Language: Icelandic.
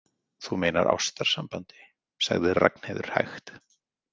Þú meinar ástarsambandi, sagði Ragnheiður hægt.